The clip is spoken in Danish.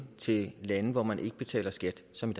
til lande hvor man ikke betaler skat som